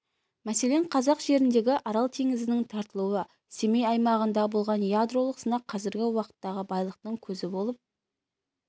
мәселен қазақ жеріндегі арал теңізінің тартылуы семей аймағында болған ядролық сынақ қазіргі уақыттағы байлықтың көзі болып